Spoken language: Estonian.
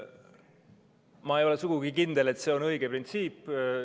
Ma ei ole sugugi kindel, et see on õige printsiip.